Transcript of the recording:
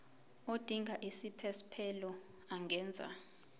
odinga isiphesphelo angenza